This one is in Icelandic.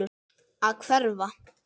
Að hverfa.